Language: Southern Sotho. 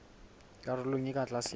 karolong e ka tlase ya